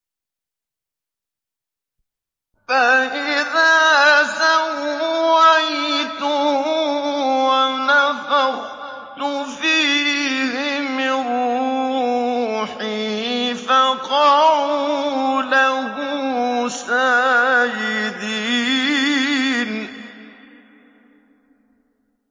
فَإِذَا سَوَّيْتُهُ وَنَفَخْتُ فِيهِ مِن رُّوحِي فَقَعُوا لَهُ سَاجِدِينَ